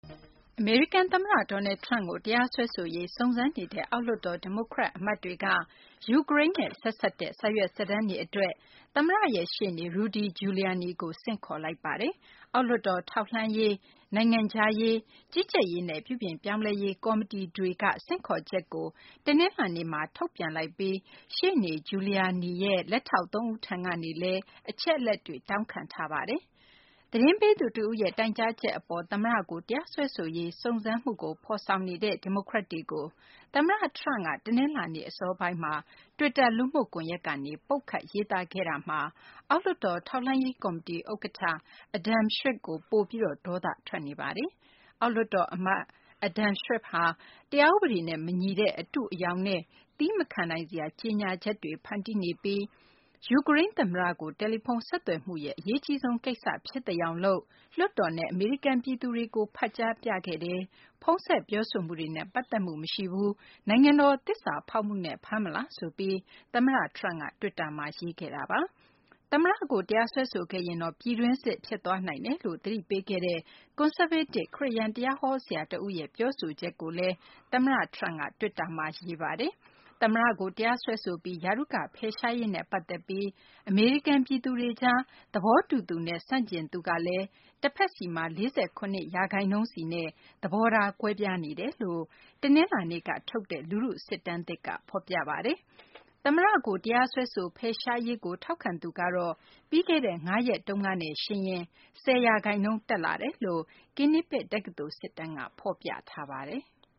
အမေရိကန် သမ္မတ Donald Trump ကို တရားစွဲဆိုရေး စုံစမ်းနေတဲ့ အောက်လွှတ်တော် ဒီမိုကရက် အမတ်တွေက ယူကရိန်းနဲ့ ဆက်စပ်တဲ့ စာရွက်စာတမ်းတွေ အတွက် သမ္မတရဲ့ ရှေ့နေ Rudy Giuliani ကို ဆင့်ခေါ်လိုက်ပါတယ်။ အောက်လွှတ်တော် ထောက်လှမ်းရေး၊ နိုင်ငံခြားရေး၊ ကြီးကြပ်ရေးနဲ့ ပြုပြင်ပြောင်းလဲရေး ကော်မတီတွေက ဆင့်ခေါ်ချက်ကို တနလာၤနေ့မှာ ထုတ်ပြန်လိုက်ပြီး ရှေ့နေ Giuliani ရဲ့ လက်ထောက် သုံးဦးထံကနေလည်း အချက်အလက်တွေ တောင်းခံထားပါတယ်။ သတင်းပေးသူတဦးရဲ့ တိုင်းကြားချက် အပေါ် သမ္မတကို တရားစွဲဆိုရေး စုံစမ်းမှုကို ဖော်ဆောင်နေတဲ့ ဒီမိုကရက်တွေကို သမ္မတ Trump က တနလာၤနေ့ အစောပိုင်းမှာ တွစ်တာ လူမှုကွန်ရက်ကနေ ပုတ်ခတ်ရေးသားခဲ့တာမှာ အောက်လွှတ်တော် ထောက်လှမ်းရေး ကော်မတီ ဥက္ကဌ Adam Schiff ကို ပိုပြီး ဒေါသ ထွက်နေတာပါ။ အောက်လွှတ်တော် အမတ် Adam Schiff ဟာ တရားဥပဒေနဲ့ မညီတဲ့ အတုအယောင်နဲ့ သည်းမခံနိုင်စရာ ကြေညာချက်တွေ ဖန်တီးနေပြီး ယူကရိန်း သမ္မတကို တယ်လီဖုန်းဆက်သွယ်မှုရဲ့ အရေးအကြီးဆုံး ကိစ္စဖြစ်သယောင်လုပ်ပြီး လွှတ်တော်နဲ့ အမေရိကန် ပြည်သူတွေကို ဖတ်ကြားပြသခဲ့တယ်၊ ဖုန်းဆက် ပြောဆိုမှုတွေနဲ့ ပတ်သက်မှု မရှိပါဘူး၊ နိုင်ငံတော် သစ္စာဖောက်မှုနဲ့ ဖမ်းမလားဆိုပြီး သမ္မတ Trump က တွစ်တာမှာ ရေးခဲ့ပါတယ်။ သမ္မတကို တရားစွဲဆိုခဲ့ရင်တော့ ပြည်တွင်းစစ် ဖြစ်သွားနိုင်တယ်လို့ သတိပေးခဲ့တဲ့ ကွန်ဆာဗေးတစ် ခရစ်ယာန် တရားဟော ဆရာ တဦးရဲ့ ပြောဆိုချက်ကိုလည်း သမ္မတ Trump က တွစ်တာမှာ ရေးခဲ့ပါတယ်။ သမ္မတ Trump ကို တရားစွဲဆိုပြီး ရာထူးက ဖယ်ရှားရေးနဲ့ ပတ်သက်ပြီး အမေရိကန် ပြည်သူတွေကြား သဘောတူသူနဲ့ ဆန့်ကျင်သူက တဖက်စီမှာ ၄၇ ရာခိုင်နှုန်းစီနဲ့ သဘောထား ကွဲပြားနေတယ်လို့ တနလာၤနေ့က ထုတ်တဲ့ လူထုစစ်တမ်းသစ်က ဖော်ပြပါတယ်။ သမ္မတကို တရားစွဲဆို ဖယ်ရှားရေးကို ထောက်ခံသူကတော့ ပြီးခဲ့တဲ့ ၅ ရက်နဲ့ ယှဉ်ရင် ၁၀ ရာခိုင်နှုန်း တက်လာတာ လို့လည်း Quinnipiac တက္ကသိုလ် စစ်တမ်းက ဖော်ပြပါတယ်။